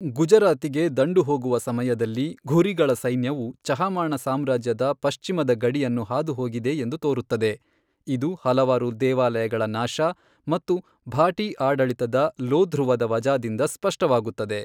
ಗುಜರಾತಿಗೆ ದಂಡು ಹೋಗುವ ಸಮಯದಲ್ಲಿ, ಘುರಿಗಳ ಸೈನ್ಯವು ಚಹಮಾಣ ಸಾಮ್ರಾಜ್ಯದ ಪಶ್ಚಿಮದ ಗಡಿಯನ್ನು ಹಾದುಹೋಗಿದೆ ಎಂದು ತೋರುತ್ತದೆ, ಇದು ಹಲವಾರು ದೇವಾಲಯಗಳ ನಾಶ ಮತ್ತು ಭಾಟಿ ಆಡಳಿತದ ಲೋಧ್ರುವದ ವಜಾದಿಂದ ಸ್ಪಷ್ಟವಾಗುತ್ತದೆ.